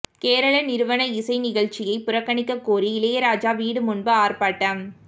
கேரள நிறுவன இசை நிகழ்ச்சியைப் புறக்கணிக்கக் கோரி இளையராஜா வீடு முன்பு ஆர்ப்பாட்டம்